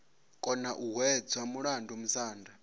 kona u hwedza mulandu musanda